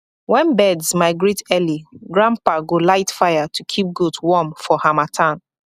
when birds migrate early grandpa go light fire to keep goat warm for harmattan